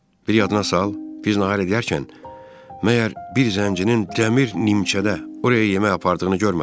Bir yadına sal, biz nahar edərkən, məgər bir zəncinin dəmir nimçədə oraya yemək apardığını görmədin?